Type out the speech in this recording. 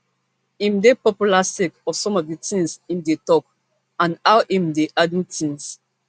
im dey popular sake of some of di tins im dey tok and how im dey handle tins